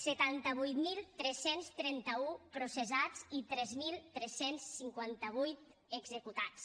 setanta vuit mil tres cents trenta un processats i tres mil tres cents i cinquanta vuit executats